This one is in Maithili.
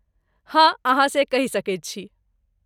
हँ, अहाँ से कहि सकैत छी।